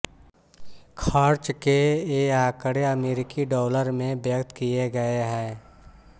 खर्च के ये आंकड़े अमेरिकी डॉलर में व्यक्त किये गये हैं